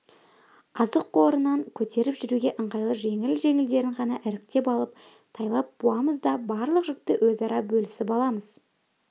азық қорынан көтеріп жүруге ыңғайлы жеңіл-жеңілдерін ғана іріктеп алып тайлап буамыз да барлық жүкті өзара бөлісіп аламыз